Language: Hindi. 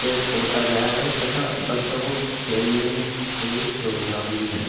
ते पोता गया है तथा बच्चों को खेलने की सुविधा भी है।